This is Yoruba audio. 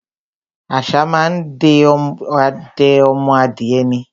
Àṣá má á ń de ọdẹ ọmọ adìẹ ni.